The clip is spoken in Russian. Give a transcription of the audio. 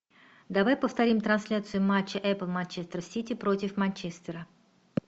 давай повторим трансляцию матча апл манчестер сити против манчестера